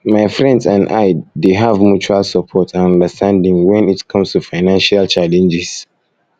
my friends and i dey have mutual support and understanding when it comes to financial challenges